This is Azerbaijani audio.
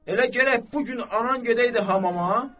Elə gərək bu gün anan gedəydi hamama?